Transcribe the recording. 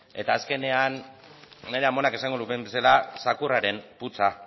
eta azkenean nire amonak esango lukeen bezala zakurraren putza